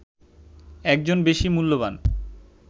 একজন বেশি মূল্যবান